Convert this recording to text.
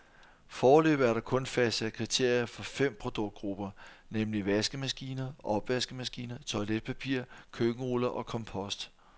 Foreløbig er der kun fastsat kriterier for fem produktgrupper, nemlig vaskemaskiner, opvaskemaskiner, toiletpapir, køkkenruller og kompost.